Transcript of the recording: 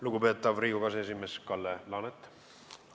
Lugupeetav Riigikogu aseesimees Kalle Laanet!